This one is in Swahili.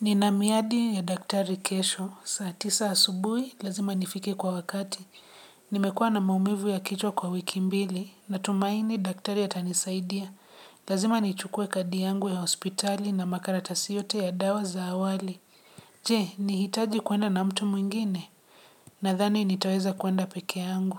Nina miadi ya daktari kesho, saa tisa asubuhi, lazima nifike kwa wakati. Nimekuwa na maumivu ya kichwa kwa wiki mbili, natumaini daktari atanisaidia. Lazima nichukue kadi yangu ya hospitali na makaratasi yote ya dawa za awali. Je, nihitaji kuenda na mtu mwingine? Nadhani nitaweza kuenda peke yangu.